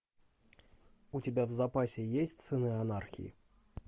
у тебя в запасе есть сыны анархии